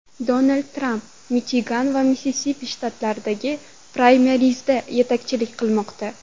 Donald Tramp Michigan va Missisipi shtatlaridagi praymerizda yetakchilik qilmoqda.